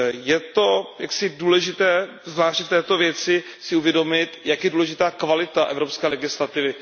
Je jaksi důležité zvláště v této věci si uvědomit, jak je důležitá kvalita evropské legislativy.